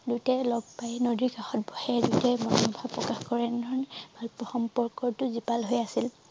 দুটাই লগ পাই নদীৰ কাষত বহে দুটাই মনৰ ভাব প্ৰকাশ কৰে এনেধৰণৰ ভালপোৱা সম্পৰ্কতো জীপাল হৈ আছিল